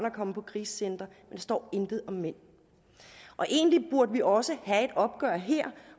at komme på krisecenter der står intet om mænd egentlig burde vi også have et opgør her